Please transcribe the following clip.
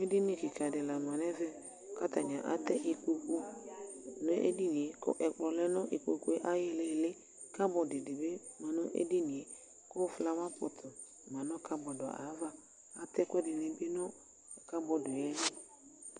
edini kika dɩ lanutɛ kʊ atɛ ikpoku nʊ edini yɛ kʊ ɛkplɔ lɛ nʊ ikpoku ayʊ ɩili, cupboard dɩ bɩ lɛ nʊ edini yɛ, kʊ sɔlɔ dɩ ma cupboard yɛ ava, atɛ ɛkuɛdɩnɩ bɩ nʊ cupboard li